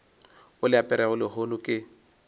o le aperego lehono ke